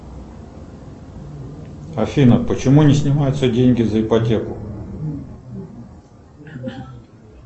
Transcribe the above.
афина почему не снимаются деньги за ипотеку